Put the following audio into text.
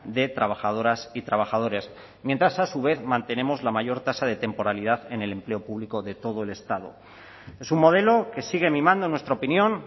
de trabajadoras y trabajadores mientras a su vez mantenemos la mayor tasa de temporalidad en el empleo público de todo el estado es un modelo que sigue mimando en nuestra opinión